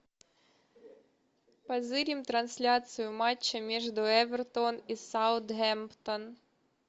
позырим трансляцию матча между эвертон и саутгемптон